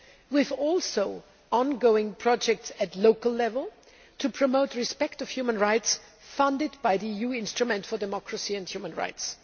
We have also ongoing projects at local level to promote respect for human rights, funded by the EU Instrument for Democracy and Human Rights.